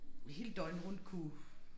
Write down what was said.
Hele døgnet rundt kunne